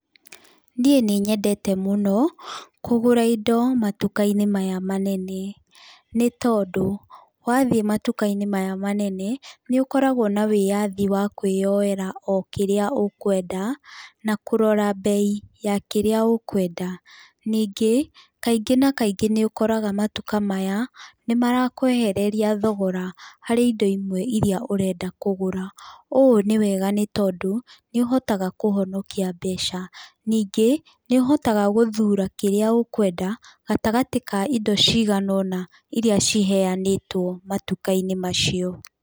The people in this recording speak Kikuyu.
Niĩ nĩ nyendete mũno kũgũra indo matuka-inĩ maya manene, nĩ tondũ, wathiĩ matuka-inĩ maya manene nĩ ũkoragwo na wĩyathi wakwĩyoera o kĩrĩa ũkũenda na kũrora mbei ya kĩrĩa ũkũenda. Ningĩ, kaingĩ na kaingĩ nĩ ũkoraga matuka-inĩ maya nĩ marakwehereria thogora harĩ indo imwe ĩria ũrenda kũgũra, ũũ ni wega nĩ tondũ nĩ ũhotaga kũhonokia mbeca. Ningĩ, nĩ ũhotaga gũthũra kĩrĩa ũkũenda gatagatĩ ka indo cigana ũna irĩa ciheanĩtwo matuka-inĩ macio.